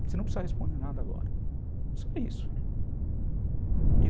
Você não precisa responder nada agora, só isso.